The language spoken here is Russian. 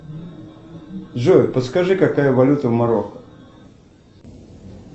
джой подскажи какая валюта в марокко